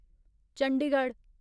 Chandigarh